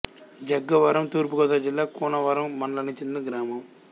జగ్గవరం తూర్పు గోదావరి జిల్లా కూనవరం మండలానికి చెందిన గ్రామం